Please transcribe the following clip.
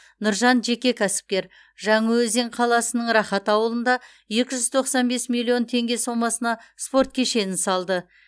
нұржан жеке кәсіпкер жаңаөзен қаласының рахат ауылында екі жүз тоқсан бес миллион теңге сомасына спорт кешенін салды